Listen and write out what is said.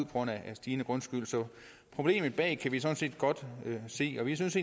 grund af en stigende grundskyld så problemet bag kan vi sådan set godt se og vi synes